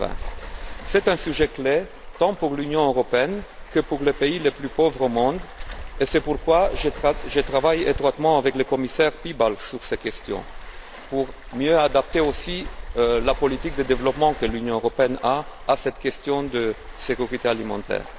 2020. C'est un sujet clé tant pour l'Union européenne que pour les pays les plus pauvres au monde, et c'est pourquoi je travaille étroitement avec le commissaire Piebalgs sur ces questions, pour mieux adapter aussi la politique de développement de l'Union européenne sur cette question de la sécurité alimentaire.